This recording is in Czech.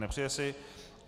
Nepřeje si.